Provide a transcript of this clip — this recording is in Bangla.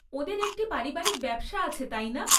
ওঁদের একটি পারিবারিক ব্যবসা আছে, তাই না?